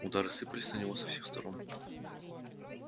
удары сыпались на него со всех сторон